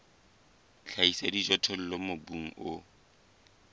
tlhahiso ya dijothollo mobung o